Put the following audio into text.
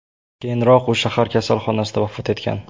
Keyinroq u shahar kasalxonasida vafot etgan.